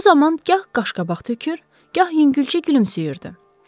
Bu zaman gah qaşqabaq tökür, gah yüngülcə gülümsüyürdü.